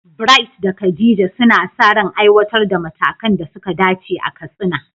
Bright da Khadija suna sa ran aiwatar da matakan da suka dace a Katsina.